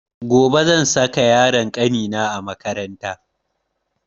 Gobe zan saka yaron kanina a makaranta